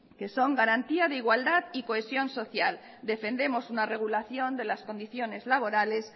que son garantía de igualdad y de cohesión social defendemos una regulación de las condiciones laborales